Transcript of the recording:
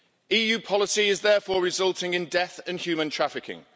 EU policy is therefore resulting in death and human trafficking.